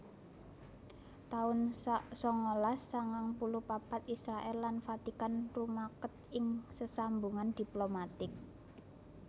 taun sangalas sangang puluh papat Israèl lan Vatikan rumaket ing sesambungan diplomatik